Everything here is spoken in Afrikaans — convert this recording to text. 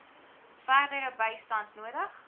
verdere bystand nodig